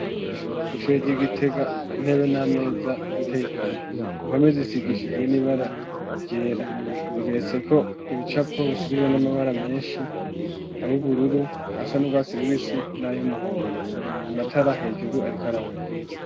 Kw'ishoro ry'igitega intebe n'ameza bateigome impome zisigishijwe n'ibara ryera bigeretse ko ibicapo bisigijwe n'amabara menshi ayoubururu a sa n'urwa sirubisi n'ayo umuhondo amatara hejuru arikaraka.